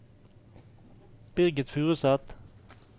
Birgit Furuseth